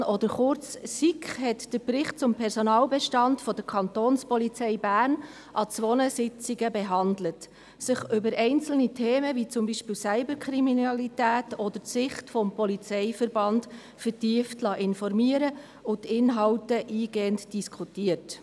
der SiK. Die Sicherheitskommission, oder kurz SiK, hat den Bericht zum Personalbestand der Kantonspolizei Bern an zwei Sitzungen behandelt, sich über einzelne Themen, wie zum Beispiel die Cyberkriminalität oder die Sicht des Polizeiverbandes, vertieft informieren lassen und die Inhalte eingehend diskutiert.